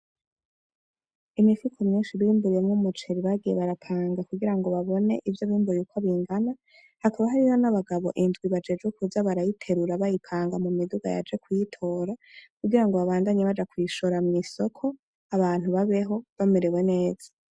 Imifuko myinshi bimbuyemwo umuceri bagiye barapanga kugira babone ivyo bimbuye Uko bingana, Hakaba Hariho n'abagabo indwi bajejwe kuza barayiterura bayipanga mumiduga yaje kuyitora, kugira babandanye baja kuyishora kw'isoko ,abantu babeho bamerewe neza .